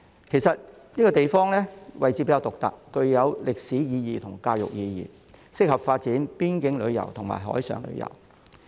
其實，這個地方位置比較獨特，具有歷史意義和教育意義，適合發展邊境旅遊和海上旅遊。